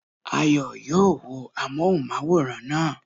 Ayọ̀ yóò wo amóhùnmáwòrán naa